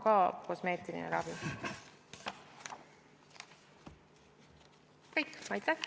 Aitäh!